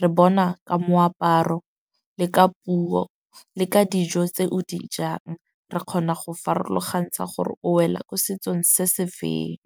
Re bona ka moaparo le ka puo le ka dijo tse o dijang. Re kgona go farologantsha gore o wela ko setsong se se feng.